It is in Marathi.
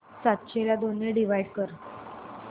सातशे ला दोन ने डिवाइड कर